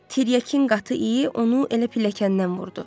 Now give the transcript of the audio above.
Tiryakinin qatı iyi onu elə pilləkəndən vurdu.